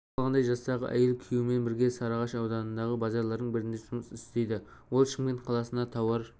белгілі болғандай жастағы әйел күйеуімен бірге сарыағаш ауданындағы базарлардың бірінде жұмыс істейді ол шымкент қаласына тауар